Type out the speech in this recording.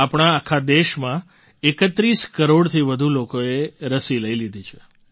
આપણા આખા દેશમાં ૩૧ કરોડથી વધુ લોકોએ રસી લઈ લીધી છે